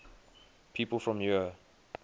people from eure